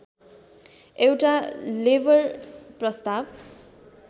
एउटा लेबर प्रस्ताव